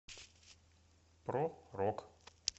про рок